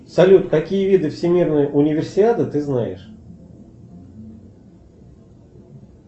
салют какие виды всемирной универсиады ты знаешь